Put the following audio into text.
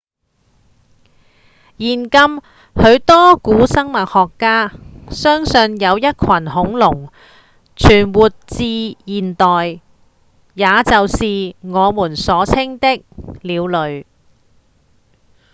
現今許多古生物學家相信有一群恐龍存活至現代也就是我們所稱的鳥類